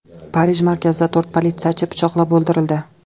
Parij markazida to‘rt politsiyachi pichoqlab o‘ldirildi.